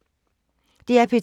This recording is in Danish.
DR P2